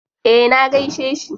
Eh na gaishe shi.